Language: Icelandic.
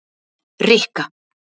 Rikka